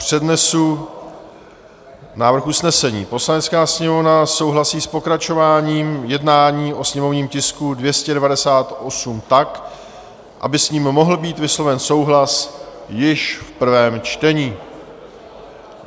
Přednesu návrh usnesení: "Poslanecká sněmovna souhlasí s pokračováním jednání o sněmovním tisku 298 tak, aby s ním mohl být vysloven souhlas již v prvém čtení."